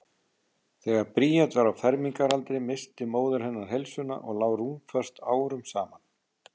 Þegar Bríet var á fermingaraldri missti móðir hennar heilsuna og lá rúmföst árum saman.